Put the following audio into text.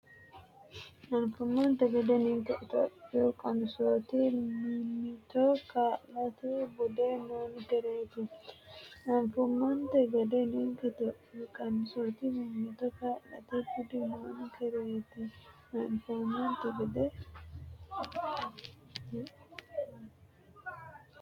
Anfummonte gede ninke Itophiyu qansooti mimmito kaa’late budi noonkereeti Anfummonte gede ninke Itophiyu qansooti mimmito kaa’late budi noonkereeti Anfummonte gede.